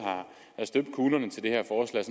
at